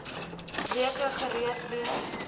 weke gereed wees